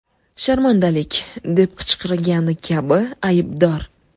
Sharmandalik!’ deb qichqirgani kabi ‘Aybdor!